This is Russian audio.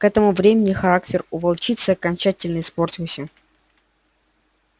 к этому времени характер у волчицы окончательно испортился